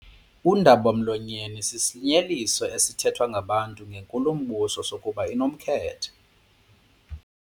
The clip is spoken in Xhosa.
Undaba-mlonyeni sisinyeliso esithethwa ngabantu ngenkulumbuso sokuba inomkhethe.